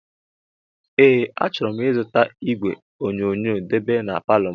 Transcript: Ee achoro m ịzụta ìgwè onyonyoo debe n'paló.